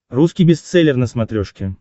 русский бестселлер на смотрешке